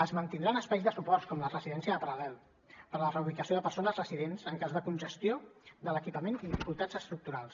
es mantindran espais de suport com la residència del paral·lel per a la reubicació de persones residents en cas de congestió de l’equipament i dificultats estructurals